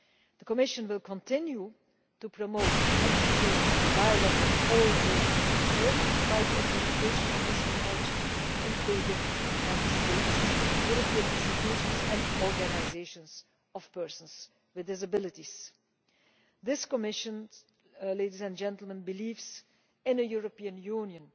The Commission will continue to promote exchange and dialogue with all those concerned by the implementation of this Convention, including Member States, European institutions and organisations of persons with disabilities. This Commission believes in a European Union